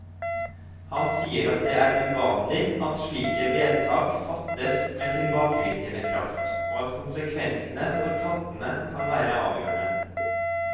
Han sier at det er uvanlig at slike vedtak fattes med tilbakevirkende kraft, og at konsekvensene for kattene kan være avgjørende.